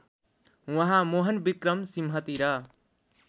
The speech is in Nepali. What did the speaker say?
उहाँ मोहनविक्रम सिंहतिर